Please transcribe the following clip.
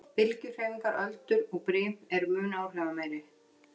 Bylgjuhreyfingar, öldur og brim, eru mun áhrifameiri.